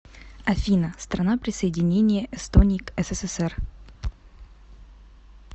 афина страна присоединение эстонии к ссср